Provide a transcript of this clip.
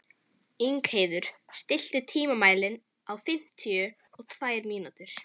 Ingheiður, stilltu tímamælinn á fimmtíu og tvær mínútur.